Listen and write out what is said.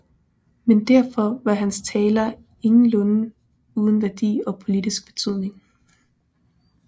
Men derfor var hans taler ingenlunde uden værdi og politisk betydning